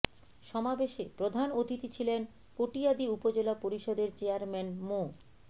সমাবেশে প্রধান অতিথি ছিলেন কটিয়াদি উপজেলা পরিষদের চেয়ারম্যান মো